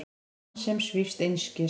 Mann sem svífst einskis.